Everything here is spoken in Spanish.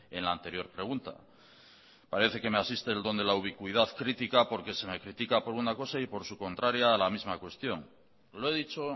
en la anterior pregunta parece que me asiste el don de la ubicuidad critica porque se me critica por una cosa y por su contraria a la misma cuestión lo he dicho